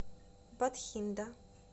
батхинда